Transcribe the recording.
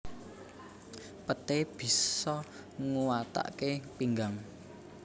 Peté bisa nguwataké pinggang